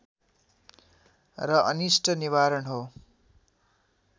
र अनिष्ट निवारण हो